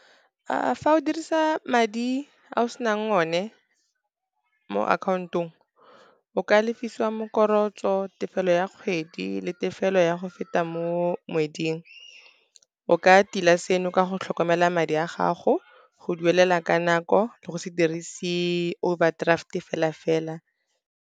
Fa o dirisa madi a o senang o ne mo account-ong, o ka lefisiwa , tefelo ya kgwedi le tefelo ya go feta mo ngweding. O ka tila seno ka go tlhokomela madi a gago, go duelela ka nako le go se dirise overdraft-e fela-fela.